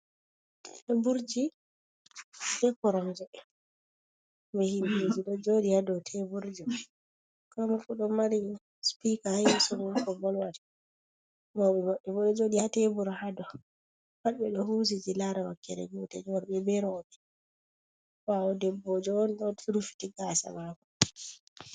Teburji be koronje be himɓeji ɗo joɗi, hado teburji komoifu ɗon Mari sipika ha yesomum ko volowata, mauɓe mabɓebo ɗo jodi ha tebur hadou pat eɗo husiti lara wakkere gotel worɓe be rouɓe, ɓawo debbojo'on ɗo rufiti gasa mako.